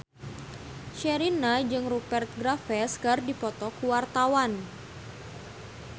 Sherina jeung Rupert Graves keur dipoto ku wartawan